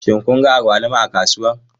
Shin kun ga agwaluma a kasuwa?